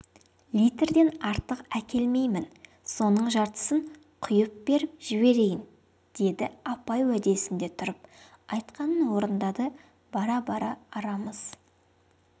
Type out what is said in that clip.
литрден артық әкелмеймін соның жартысын құйып беріп жіберейін деді апай уәдесінде тұрып айтқанын орындады бара-бара арамыз